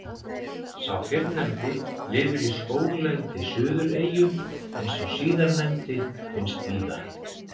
Sá fyrrnefndi lifir í skóglendi Suðureyju en sá síðarnefndi finnst víðar.